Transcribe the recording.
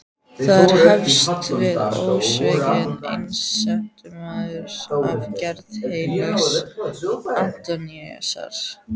Þar hefst við ósvikinn einsetumaður af gerð heilags Antóníusar.